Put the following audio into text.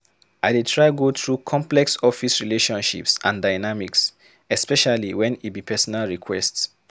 I dey try go through complex office relationships and dynamics, especially wen e be personal request.